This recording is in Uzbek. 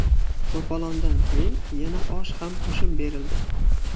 To‘polondan keyin yana osh ham qo‘shib berildi.